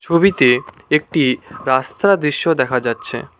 ছবিতে একটি রাস্তার দৃশ্য দেখা যাচ্ছে।